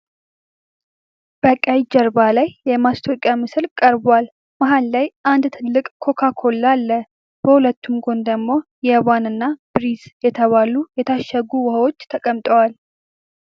በቀይ ጀርባ ላይ የማስታወቂያ ምስል ቀርቧል። መሀል ላይ አንድ ትልቅ ኮካ ኮላ አለ። በሁለቱም ጎን ደግሞ የዋን እና ብሪስ የተባሉ የታሸጉ ውሃዎች ተቀምጠዋል።